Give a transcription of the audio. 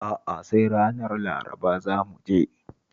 A'a, sai ranar Laraba za mu je